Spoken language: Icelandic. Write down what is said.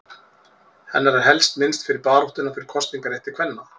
Hennar er helst minnst fyrir baráttuna fyrir kosningarétti kvenna.